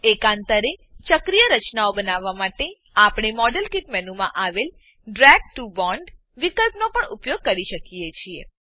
એકાંતરે ચક્રીય રચનાઓ બનાવવા માટે આપણે મોડેલકીટ મેનુમાં આવેલ ડ્રેગ ટીઓ બોન્ડ વિકલ્પનો પણ ઉપયોગ કરી શકીએ છીએ